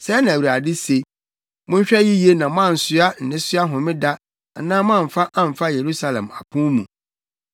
Sɛɛ na Awurade se: Monhwɛ yiye na moansoa nnesoa Homeda anaa moamfa amfa Yerusalem apon mu.